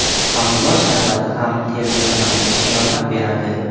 Pomidor sharbati ham terni kamaytirishga yordam beradi.